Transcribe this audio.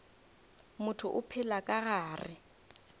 motho o phela ka gare